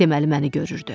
Deməli məni görürdü.